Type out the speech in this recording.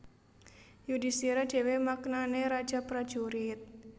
Yudhistira dhewe maknane raja prajurit